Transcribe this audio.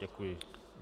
Děkuji.